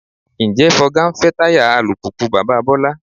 Ǹjẹ́ Fọga ń fẹ́ táyà alùpùpù bàbá Bọ́lá?